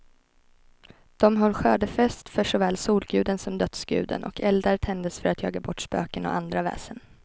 De höll skördefest för såväl solguden som dödsguden, och eldar tändes för att jaga bort spöken och andra väsen.